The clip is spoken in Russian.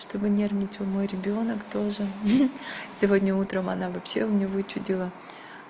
чтобы нервничал мой ребёнок то же сегодня утром она вообще мне вычудила